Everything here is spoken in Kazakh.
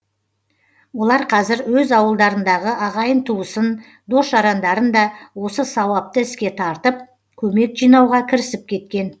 олар қазір өз ауылдарындағы ағайын туысын дос жарандарын да осы сауапты іске тартып көмек жинауға кірісіп кеткен